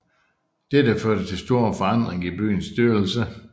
Dette førte til store forandringer i byens styrelse